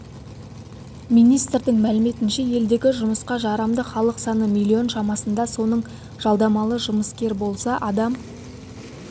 министрдің мәліметінше елдегі жұмысқа жарамды халық саны миллион шамасында соның жалдамалы жұмыскер болса адам